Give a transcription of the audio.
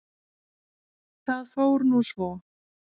Það fór nú svo.